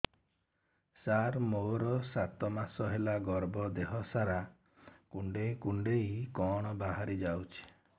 ସାର ମୋର ସାତ ମାସ ହେଲା ଗର୍ଭ ଦେହ ସାରା କୁଂଡେଇ କୁଂଡେଇ କଣ ବାହାରି ଯାଉଛି